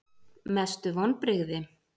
Mestu vonbrigði?